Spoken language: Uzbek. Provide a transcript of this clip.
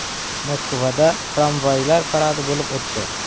Moskvada tramvaylar paradi bo‘lib o‘tdi .